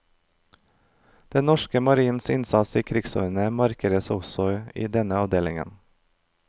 Den norske marines innsats i krigsårene markeres også i denne avdelingen.